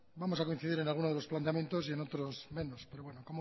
vamos a coincidir en algunos de los planteamientos y en otros menos pero bueno